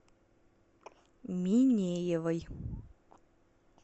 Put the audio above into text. минеевой